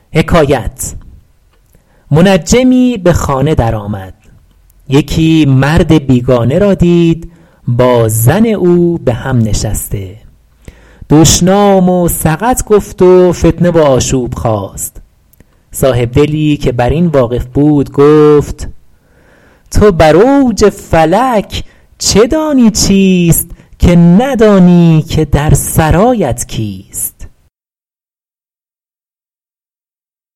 منجمی به خانه در آمد یکی مرد بیگانه را دید با زن او به هم نشسته دشنام و سقط گفت و فتنه و آشوب خاست صاحبدلی که بر این واقف بود گفت تو بر اوج فلک چه دانی چیست که ندانی که در سرایت کیست